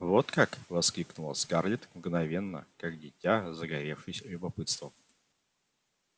вот как воскликнула скарлетт мгновенно как дитя загоревшись любопытством